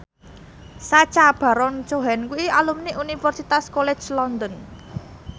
Sacha Baron Cohen kuwi alumni Universitas College London